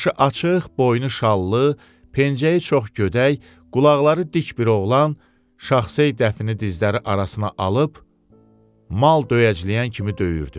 Başı açıq, boynu şallı, pəncəyi çox gödək, qulaqları dik bir oğlan Şaxsey dəfini dizləri arasına alıb mal döyəcləyən kimi döyürdü.